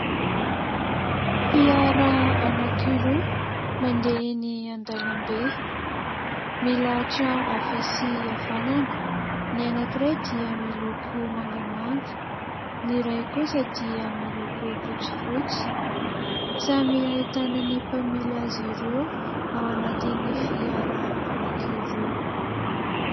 Fiara anankiroa, mandeha eny an-dàlambe. Milahatra havia sy havanana ; ny anankiray dia miloko mangamanga ny iray kosa dia miloko fotsifotsy. Samy ahitana ny mpamily azy ireo ao anatin'ny fiara anankiroa.